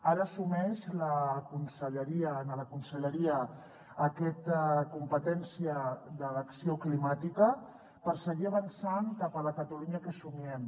ara assumeix en la conselleria aquesta competència de l’acció climàtica per seguir avançant cap a la catalunya que somiem